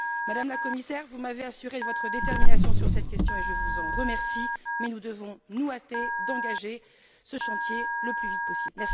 Madame la Commissaire, vous m'avez assurée de votre détermination sur cette question et je vous en remercie, mais nous devons nous hâter d'engager ce chantier le plus vite possible.